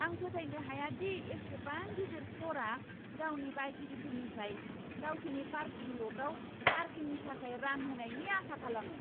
आं फोथायनो हाया दि एसेबां गिदिर स्ट'रआ गावनि बायगिरिफोरनिफ्राय गावसिनि पार्किं ल'टआव पार्किंनि थाखाय रां होनायनि आसा खालामो!